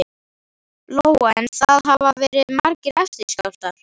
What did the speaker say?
Lóa: En það hafa verið margir eftirskjálftar?